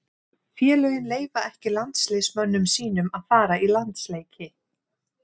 Félögin leyfa ekki landsliðsmönnum sínum að fara í landsleiki.